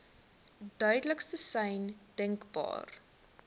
duidelikste sein denkbaar